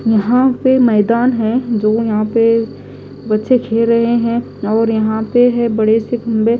यहां पे मैदान है जो यहां पे बच्चे खेल रहे हैं और यहां पे है बड़े से खंबे।